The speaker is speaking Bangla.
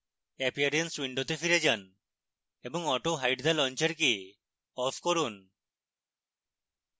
appearance window ফিরে যান এবং autohide the launcher কে off করুন